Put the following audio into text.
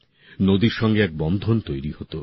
নদীর সঙ্গে এক বন্ধন তৈরি হত